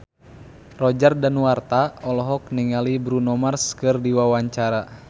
Roger Danuarta olohok ningali Bruno Mars keur diwawancara